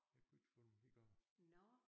Jeg kunne ikke få dem i gang